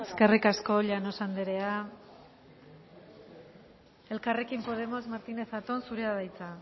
eskerrik asko llanos anderea elkarrekin podemos martínez zatón zurea da hitza